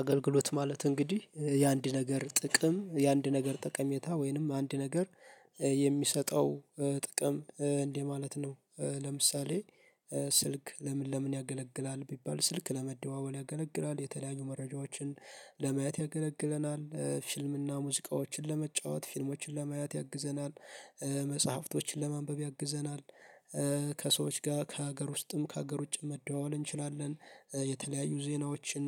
አገልግሎት ማለት እንግዲህ የአንድ ነገር ጥቅም የአንድ ነገር ጠቀሜታ ወይንም አንድ ነገር የሚሰጠው ጥቅም እንደ ማለት ነው። ለምሳሌ ስልክ ለምን ለምን ያገለግላል ቢባል ስልክ ለመደዋወል ያገለግላል የተለያዩ መረጃዎችን ለማየት ያገለግለናል ፊልምና ሙዚቃዎችን ለመጫወት ፊልሞችን ለማየት ያግዘናል። መጽሐፍቶችን ለማንበብ ያግዘናል። ከሰዎች ጋር ከሀገር ውስጥም ከሀገር ውጭም መደዋወል እንችላለን የተለያዩ ዜናዎችን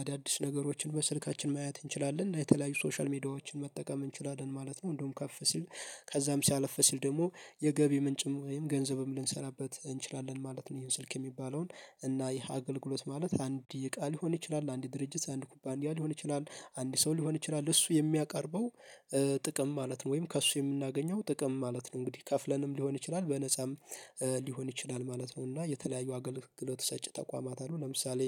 አዳዲስ ነገሮችን በስልካችን ማየት እንችላለን የተለያዩ ሶሻል ሚዲያዎችን መጠቀም እንችላለን ማለት ነው። እንደውም ከፍ ሲል ከዛም ሲያለፍ ሲል ደግሞ የገቢ ምንጭም ወይም ገንዘብም ልንሠራበት እንችላለን ማለት ነው። ይሄን ስልክ የሚባለውን እና ይሄ አገልግሎት ማለት አንድ እቃ ሊሆን ይችላል አንድ ድርጅት አንድ ኩባንያ ሊሆን ይችላል አንድ ሰው ሊሆን ይችላል እሱ የሚያቀርበው ጥቅም ማለት ነው። ወይም ከእሱ የምናገኘው ጥቅም ማለት ነው። እንግዲህ ከፍለንም ሊሆን ይችላል በነፃም ሊሆን ይችላል ማለት ነው። እና የተለያዩ አገልግሎት ሰጪ ተቋማት አሉ። ለምሳሌ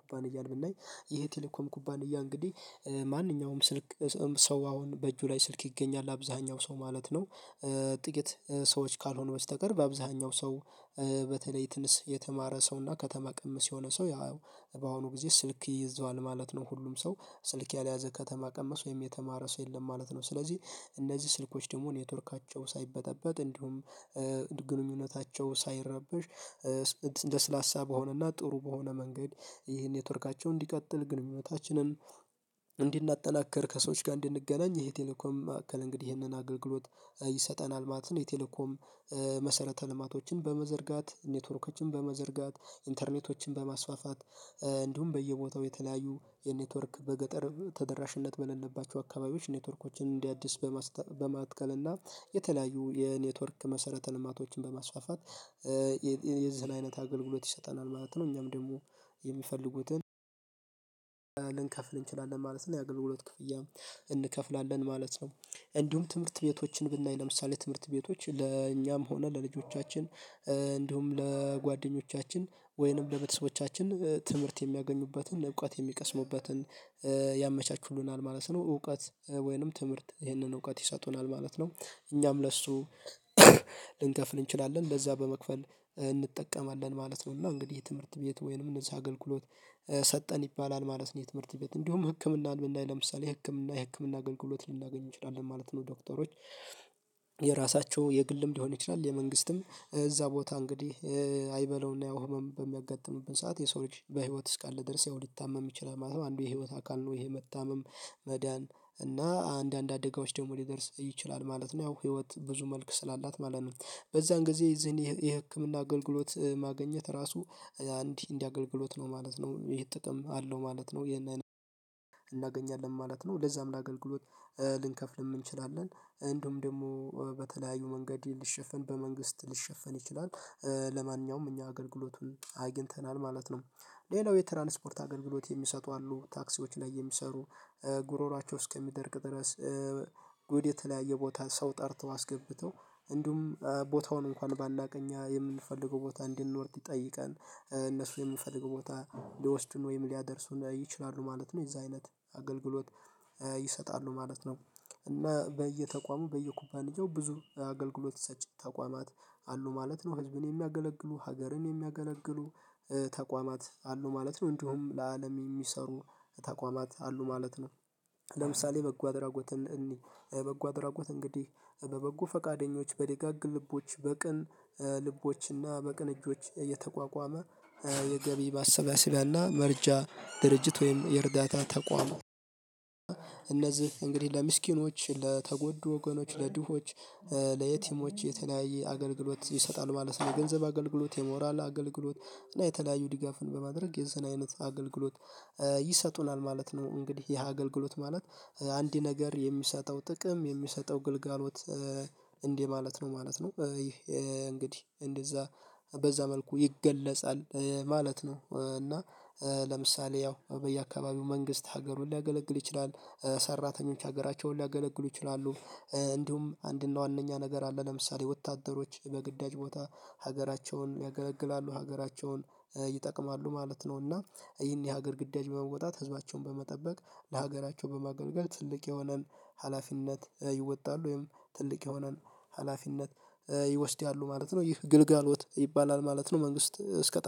ኩባንያን ብናይ ይሄ ቴሌኮም ኩባንያ እንግዲህ ማንኛውም ስልክ ሰው አሁን በእጁ ላይ ስልክ ይገኛል አብዛኛው ሰው ማለት ነው። ጥቂት ሰዎች ካልሆኑ በስተቀር አብዛኛው ሰው በተለይ ትንሽ የተማረ ሰው እና ከተማ ቀምስ የሆነ ሰው ያው በአሁኑ ጊዜ ስልክ ይይዘዋል ማለት ነው። ሁሉም ሰው ስልክ ያልያዘ ከተማ ቀመስ ወይም የተማረ ሰው የለም ማለት ነው። ስለዚህ እነዚህ ስልኮች ደግሞ ኔትወርካቸው ሳይበጠበጥ እንዲሁም ግንኙነታቸው ሳይረበሽ ለስላሳ በሆነና ጥሩ በሆነ መንገድ ይሄን ኔትወርካቸው እንዲቀጥል ግንኙነታችንን እንድናጠክር ከሰዎች ጋር እንድንገናኝ ይሄ ቴሌኮም አካል እንግዲህ ይሄንን አገልግሎት ይሰጠናል ማለት ነው። የቴሌኮም መሰረተ ልማቶችን በመዘርጋት ኔትወርኮችን በመዘርጋት ኢንተርኔቶችን በማስፋፋት እንዲሁም በየቦታው የተለያዩ የኔትወርክ በገጠር ተደራሽነት በሌለባቸው አካባቢዎች ኔትወርኮችን እንዲያድስ በማትከል እና የተለያዩ የኔትወርክ መሰረተ ልማቶችን በማስፋፋት የዚህን አይነት አገልግሎት ይሰጠናል ማለት ነው። እኛም ደግሞ የሚፈልጉትን ልንከፍል እንችላለን ማለት ነው የአገልግሎት ክፍያ እንከፍላለን ማለት ነው። እንዲሁም ትምህርት ቤቶችን ብናይ ለምሳሌ ትምህርት ቤቶች ለእኛም ሆነ ለልጆቻችን እንዲሁም ለጓደኞቻችን ወይንም ለቤተሰቦቻችን ትምህርት የሚያገኙበትን እውቀት የሚቀስሙበትን ያመቻቹሉናል ማለት ነው። እውቀት ወይንም ትምህርት ይህንን እውቀት ይሰጡናል ማለት ነው። እኛም ለሱ ልንከፍል እንችላለን ለዛ በመክፈል እንጠቀማለን ማለት ነው። እና እንግዲህ የትምህርት ቤት ወይንም እነዚህ አገልግሎት ሰጠን ይባላል ማለት ነው። የትምህርት ቤት እንዲሁም ህክምናን ብናይ ለምሳሌ ህክምና የህክምና አገልግሎት ልናገኝ እንችላለን ማለት ነው። ዶክተሮች የራሳቸው የግልም ሊሆን ይችላል የመንግስትም እዛ ቦታ እንግዲህ አይበለውና ያው ህመም በሚያጋጥምብን ሰዓት የሰው ልጅ በህይወት እስካለ ድረስ ያው ሊታመም ይችላል ማለት ነው። አንዱ የህይወት አካል ነው ይሄ መታመም መዳን እና አንዳንድ አደጋዎች ደግሞ ሊደርስ ይችላል ማለት ነው። ህይወት ብዙ መልክ ስላላት ማለት ነው። በዛን ጊዜ ይህን የህክምና አገልግሎት ማግኘት ራሱ እንዲህ እንዲህ አገልግሎት ነው ማለት ነው ይሄ ጥቅም አለው ማለት ነው። ይሄን እናገኛለን ማለት ነው ለዛም ለአገልግሎት ልንከፍልም እንችላለን እንዲሁም ደግሞ በተለያዩ መንገድ ሊሸፈን በመንግስት ሊሸፈን ይችላል። ለማንኛውም እኛ አገልግሎቱን አግኝተናል ማለት ነው። ሌላው የትራንስፖርት አገልግሎት የሚሰጡ አሉ ታክሲዎች ላይ የሚሰሩ ጉሮሮአቸው እስከሚደርቅ ድረስ ወደ የተለያየ ቦታ ሰው ጠርተው እንዲሁም ቦታውን እንኳን ባናውቅ እኛ የምንፈልገው ቦታ እንዲል እንድንወርድ ጠይቀን እነሱ የምፈልገው ቦታ ሊወስዱን ወይም ሊያደርሱን ይችላሉ ማለት ነው። የዛ አይነት አገልግሎት ይሰጣሉ ማለት ነው። እና በየተቋሙ በየኩባንያው ብዙ አገልግሎት ሰጭ ተቋማት አሉ ማለት ነው። ህዝብን የሚያገለግሉ ሀገርን የሚያገለግሉ ተቋማት አሉ ማለት ነው። እንዲሁም ለአለም የሚሰሩ ተቋማት አሉ ማለት ነው። ለምሳሌ በጎ አድራጎትን እንይ በጎ አድራጎት እንግዲህ በበጎ ፈቃደኞች በደጋግ ልቦች በቅን ልቦችና በቅን እጆች እየተቋቋመ የገቢ ማሰባሰቢያና መረጃ ድርጅት ወይም የእርዳታ ተቋማዊ እነዚህ እንግዲህ ለምስኪኖች ለተጎዱ ወገኖች ለድሆች ለየቲሞች የተለያየ አገልግሎት ይሰጣል ማለት ነው። የገንዘብ አገልግሎት የሞራል አገልግሎት እና የተለያዩ ድጋፍን በማድረግ የዚህን አይነት አገልግሎት ይሰጡናል ማለት ነው። እንግዲህ ይሄ አገልግሎት ማለት አንድ ነገር የሚሰጠው ጥቅም የሚሰጠው ግልጋሎት እንዲህ ማለት ነው ማለት ነው። ይሄ እንግዲህ እንደዛ በዛ መልኩ ይገለጻል ማለት ነው። እና ለምሳሌ ያው በየአካባቢው መንግስት ሀገሩን ሊያገለግል ይችላል ሰራተኞች ሀገራቸውን ሊያገለግሉ ይችላሉ። እንዲሁም አንድና ዋነኛ ነገር አለ ለምሳሌ ወታደሮች በግዳጅ ቦታ ሀገራቸውን ያገለግላሉ ሀገራቸውን ይጠቅማሉ ማለት ነው። እና ይህን የሀገር ግዳጅ በመውጣት ህዝባቸውን በመጠበቅ ለሀገራቸው በማገልገል ትልቅ የሆነን ሀላፊነት ይወጣሉ ወይም ትልቅ ይሆናል ሀላፊነት ይወስዳሉ ማለት ነው። ይህ ግልጋሎት ይባላል ማለት ነው። መንግስት እስከ ጣል